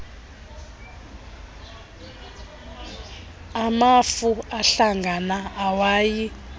amafu ahlangana ewayi